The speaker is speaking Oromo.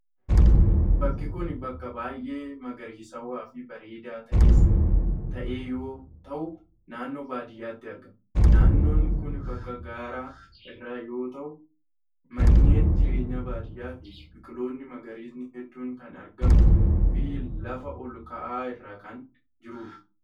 Bakki kun bakka baay'ee magariisawaa fi bareedaa ta'e yoo ta'u, naannoo baadiyaatti argama. Naannoo kun bakka gaara irraa yoo ta'u, manneen jireenyaa baadiyaa fi biqiloonni magariisaa hedduun kan argamuu fi lafa ol ka'aa irra kan jiruu dha.